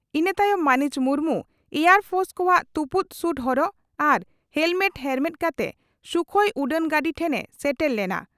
ᱤᱱᱟᱹ ᱛᱟᱭᱚᱢ ᱢᱟᱹᱱᱤᱡ ᱢᱩᱨᱢᱩ ᱮᱭᱟᱨ ᱯᱷᱚᱨᱥ ᱠᱚᱣᱟᱜ ᱛᱩᱯᱩᱫ ᱥᱩᱴ ᱦᱚᱨᱚᱜ ᱟᱨ ᱦᱮᱞᱢᱮᱴ ᱦᱮᱨᱢᱮᱫ ᱠᱟᱛᱮ ᱥᱩᱠᱷᱚᱭ ᱩᱰᱟᱹᱱ ᱜᱟᱹᱰᱤ ᱴᱷᱮᱱ ᱮ ᱥᱮᱴᱮᱨ ᱞᱮᱱᱟ ᱟᱨ